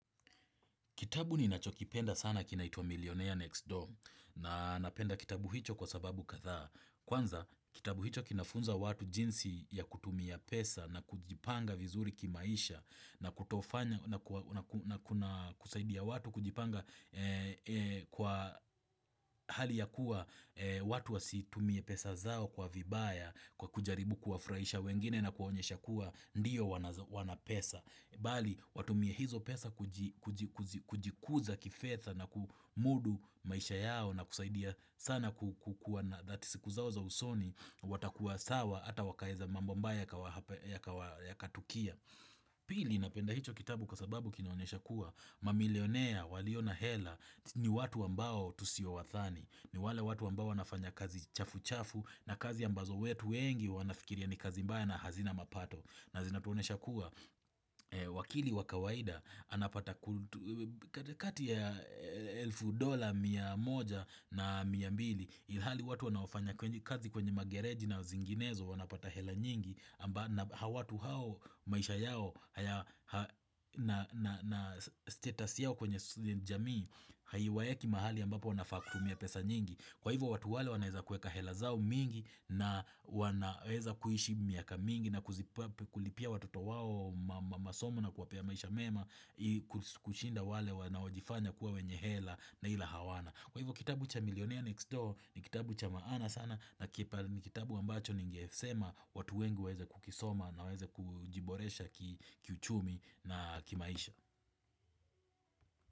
Kitabu ninachokipenda sana kinaitwa Millionaire Next Door na napenda kitabu hicho kwa sababu kadhaa. Kwanza kitabu hicho kinafunza watu jinsi ya kutumia pesa na kujipanga vizuri kimaisha na kutofanya na kusaidia watu kujipanga kwa hali ya kuwa watu wasitumie pesa zao kwa vibaya kwa kujaribu kuwafurahisha wengine na kuonyesha kuwa ndiyo wana pesa. Bali watumie hizo pesa kujikuza kifedha na kumudu maisha yao na kusaidia sana kukuwa na that siku zao za usoni watakuwa sawa ata wakaeza mambo mbaya yakatukia pili napenda hicho kitabu kwasababu kinaonyesha kuwa mamilionea waliona hela ni watu ambao tusio wathani ni wale watu ambao nafanya kazi chafu chafu na kazi ambazo wetu wengi wanafikiria ni kazi mbaya na hazina mapato na zinatuonesha kuwa wakili wakawaida anapata kati ya elfu dola mia moja na miya mbili ilhali watu wanafanya kwenye kazi kwenye magereji na zinginezo wanapata hela nyingi amba hawatu hao maisha yao na status yao kwenye jamii haiwaeki mahali ambapo wanafaa kutumia pesa nyingi kwa hivo watu wale wanaeza kueka hela zao mingi na wanaeza kuishi miaka mingi na kulipia watoto wao masomo na kuwapea maisha mema kushinda wale wanaojifanya kuwa wenye hela na ila hawana Kwa hivyo kitabu cha Millionaire Next Door ni kitabu cha maana sana na kitabu wambacho ningesema watu wengi waeze kukisoma na waeze kujiboresha kiuchumi na kimaisha.